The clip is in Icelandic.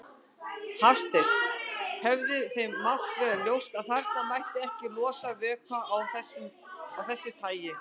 Hafsteinn: Hefði þeim mátt vera ljóst að þarna mætti ekki losa vökva af þessu tagi?